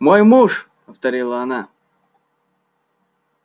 мой муж повторила она